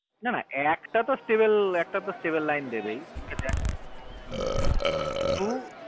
না না একটা travel line তো দেবেই হু কিন্তু